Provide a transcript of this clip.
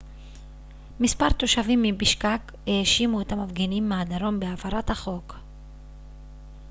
מספר תושבים מבישקק האשימו את המפגינים מהדרום בהפרת החוק